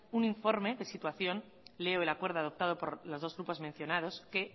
un informe de situación leo el acuerdo adoptado por los dos grupos mencionados que